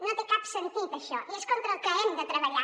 no té cap sentit això i és contra el que hem de treballar